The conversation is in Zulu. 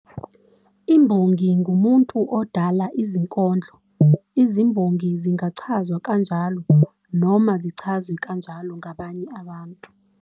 Imbongi ngumuntu odala izinkondlo. Izimbongi zingazichaza kanjalo noma zichazwe kanjalo ngabanye abantu.